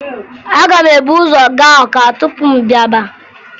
Aga m ebu ụzọ gaa Ọka tupu m bịaba